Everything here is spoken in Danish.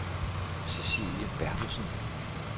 Cecilie Berthelsen